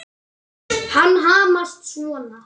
Að hamast svona.